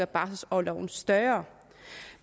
barselorloven større